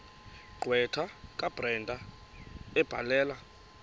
gqwetha kabrenda ebhalela